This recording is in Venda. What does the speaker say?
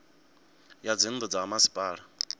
ya dzinnu dza ha masipala